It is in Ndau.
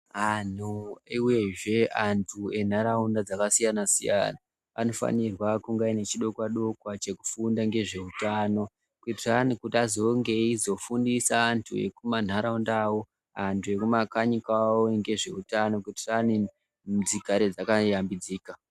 Anhu uyezve Antu enharaunda dzakasiyana siyana anofanirwa kunge aine chidokwa dokwa chekufunda ngezveutano kuitirani kuti azonge eizofundisa antu ekumantaraunda awo antu ekumakanyi kwawo ngezveutano kuitirani dzigare dzakayambidzika.